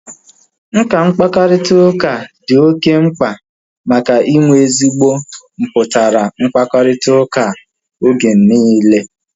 Nka mkparịta ụka dị oké mkpa maka inwe ezigbo mputara mkparịta ụka oge niile